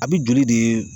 A bɛ joli de